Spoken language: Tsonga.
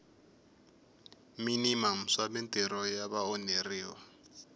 minimamu swa mintirho ya vaonheriwa